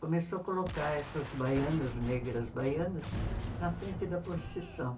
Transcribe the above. Começou a colocar essas baianas, negras baianas, na frente da procissão.